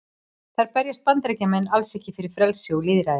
Þar berjast Bandaríkjamenn alls ekki fyrir frelsi og lýðræði.